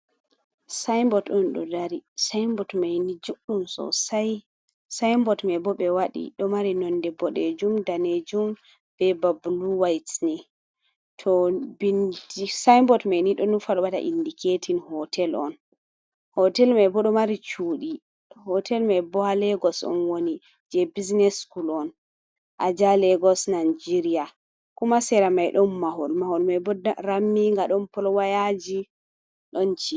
Saimbot on ɗo dari. Saimbot maini juɗɗum sosai. Saimbot maibo ɗo mari nonde boɗejum, danejum, be ba blu wait ni. Saimbot maini ɗo nufa waɗa indiketin hotel on. Hotel maibo ɗo mari cuɗi hotel mai bo ha Legos on woni je bisines skul on: aja Legos Nageria. Kuma sera mai ɗon mahol mahol maibo ramminga ɗon polwayaji ɗon ci e.